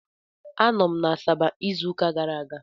Anọ m na Asaba izu ụka gara aga.